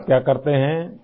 اور ، آپ کیا کرتے ہیں؟